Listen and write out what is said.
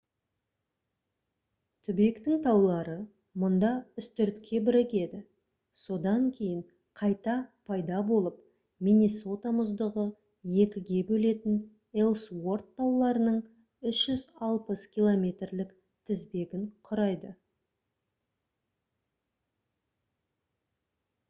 түбектің таулары мұнда үстіртке бірігеді содан кейін қайта пайда болып миннесота мұздығы екіге бөлетін элсуорт тауларының 360 км-лік тізбегін құрайды